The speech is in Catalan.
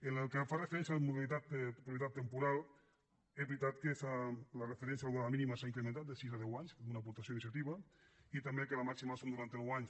en el que fa referència a la modalitat de propietat temporal és veritat que la referència a la durada mínima s’ha incrementat de sis a deu anys que és una aportació d’iniciativa i també que la màxima són norantanou anys